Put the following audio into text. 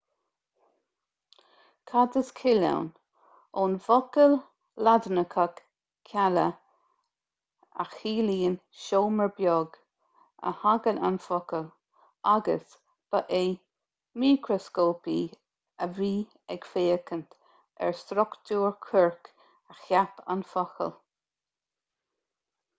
cad is cill ann ón bhfocal laidineach cella a chiallaíonn seomra beag a thagann an focal agus ba é micreascópaí a bhí ag féachaint ar struchtúr coirc a cheap an focal